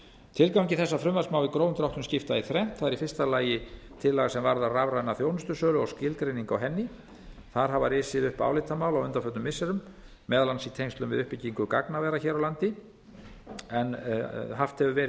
tilgangi þessa frumvarps má í stórum dráttum skipta í þrennt í fyrsta lagi er tillaga sem varðar rafræna þjónustusölu og skilgreiningu á henni þar hafa risið upp álitamál á undanförnum missirum meðal annars í tengslum við uppbyggingu gagnavera hér á landi en haft hefur verið